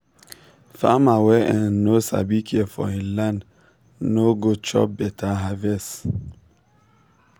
farmer wey um no sabi care for him land no um go chop better harvest.